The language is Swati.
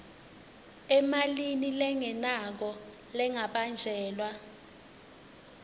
emalini lengenako lengabanjelwa